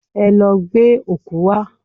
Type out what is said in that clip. Ẹ lọ gbẹ́ ọ̀kú wá!